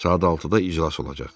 Saat altıda iclas olacaq.